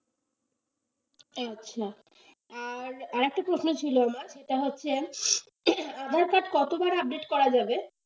আচ্ছা আর, আর একটা প্রশ্ন ছিল আমার সেটা হচ্ছে aadhaar card কতবার update করা যাবে?